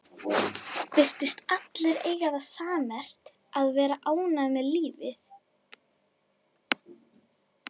Virtust allir eiga það sammerkt að vera ánægðir með lífið.